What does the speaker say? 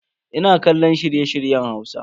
Ina kallon shirye-shiryen Hausa.